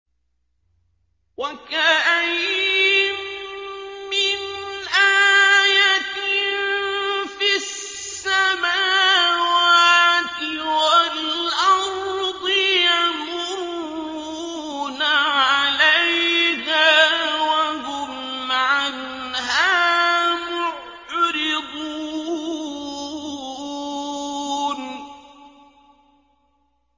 وَكَأَيِّن مِّنْ آيَةٍ فِي السَّمَاوَاتِ وَالْأَرْضِ يَمُرُّونَ عَلَيْهَا وَهُمْ عَنْهَا مُعْرِضُونَ